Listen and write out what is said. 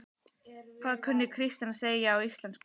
Hvað kunni Kristín að segja á íslensku?